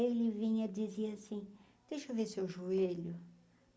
Ele vinha dizia assim, deixa eu ver seu joelho.